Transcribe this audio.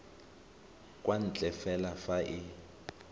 kwa ntle fela fa e